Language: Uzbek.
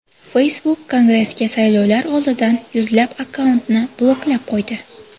Facebook Kongressga saylovlar oldidan yuzlab akkauntni bloklab qo‘ydi.